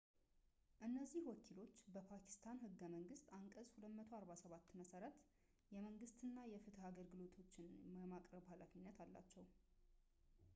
እነዚህ ወኪሎች በፓኪስታን ህገ መንግስት አንቀጽ 247 መሠረት የመንግስት እና የፍትህ አገልግሎቶችን የማቅረብ ሃላፊነት አለባቸው